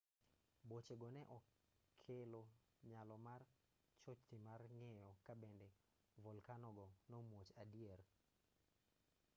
bochego ne okelo nyalo mar chochni mar ng'eyo kabende volkanogo nomuoch adier